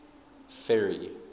ferry